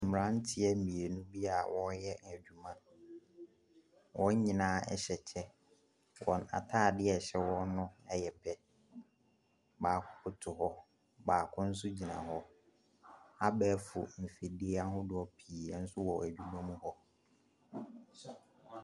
Mmranteɛ mmienu bi a wɔyɛ adwuma. Wɔn nyinaa ɛhyɛ kyɛ. Wɔn ataadeɛ a ɛhyɛ wɔn no ɛyɛ pɛ. Baako butuw hɔ, baako nso gyina hɔ. Abɛɛfo mfidie ahodoɔ pii bi wɔ adwuma mu hɔ.